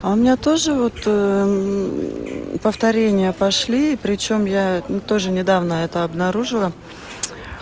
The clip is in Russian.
а у меня тоже вот повторение пошли причём я тоже недавно это обнаружила